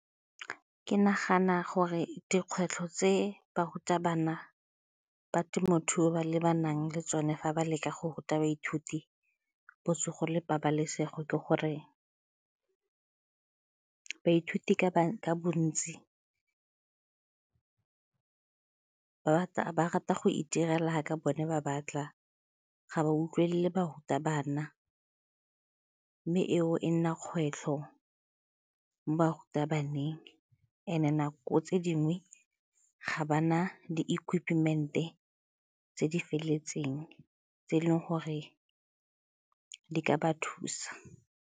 Ke nagana gore dikgwetlho tse barutabana ba temothuo ba lebanang le tsone fa ba leka go ruta baithuti, botsogo le pabalesego ke gore baithuti ka bontsi ba rata go itirela jaaka bone ba batla ga ba utlwelele barutabana mme eo e nna kgwetlho mo barutabaneng and-e nako tse dingwe ga ba na di-equipment-e tse di feleletseng tse e leng gore di ka ba thusa.